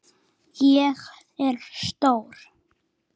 Ég er stór.